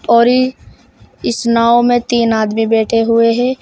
औरी इस नाव में तीन आदमी बैठे हुए हैं।